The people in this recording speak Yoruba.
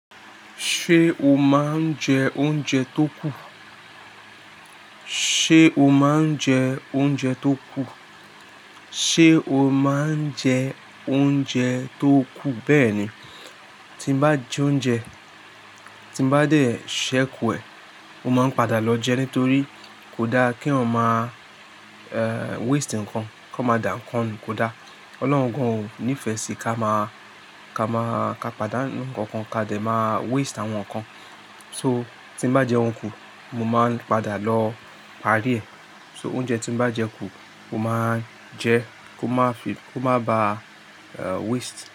Ṣé o máa ń jẹ oúnjẹ tó kù? Ṣé o máa ń jẹ oúnjẹ tó kù? Ṣé o máa ń jẹ oúnjẹ tó kù? Bẹ́ẹ̀ni, tí n bá jẹ oúnjẹ, tí n bá dé, sẹ́ kù ẹ. Mo máa ń padà lọ jẹ nítorí kò dá kí èèyàn máa waste ǹkan. Kọ́ má dà ǹkan nù kò da. Ọlọ́run gan ò nífẹ́ sí ká má, ká má, ká padànu ǹkan kan ká dé má waste àwọn ǹkan. So tí n bá jẹun kù, mo máa ń padà lọ parí ẹ̀. So oúnjẹ tí n bá jẹ kù, mo máa ń jẹ ko má fi, ko má ba, waste.